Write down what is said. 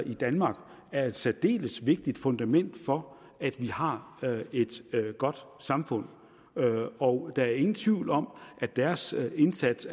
i danmark er et særdeles vigtigt fundament for at vi har et godt samfund og der er ingen tvivl om at deres indsats